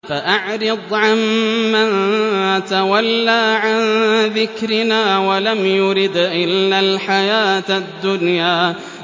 فَأَعْرِضْ عَن مَّن تَوَلَّىٰ عَن ذِكْرِنَا وَلَمْ يُرِدْ إِلَّا الْحَيَاةَ الدُّنْيَا